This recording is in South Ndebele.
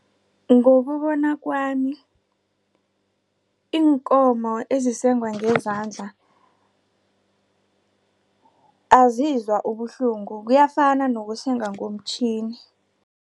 Ngokubona kwami iinkomo ezisengwa ngezandla azizwa ubuhlungu kuyafana nokusenga ngomtjhini.